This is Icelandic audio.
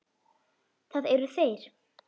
Það eru þeir.